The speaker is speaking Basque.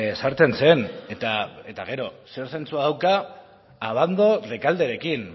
sartzen zen eta gero ze zentzua dauka abando rekalderekin